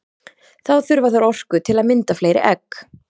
Þá þurfa þær orku til að mynda fleiri egg.